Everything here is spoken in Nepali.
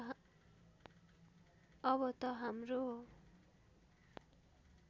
अब त हाम्रो